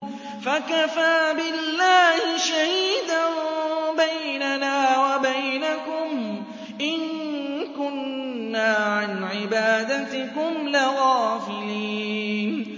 فَكَفَىٰ بِاللَّهِ شَهِيدًا بَيْنَنَا وَبَيْنَكُمْ إِن كُنَّا عَنْ عِبَادَتِكُمْ لَغَافِلِينَ